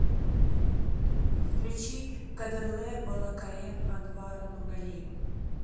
включи кадерле балакаем анвара нургалиева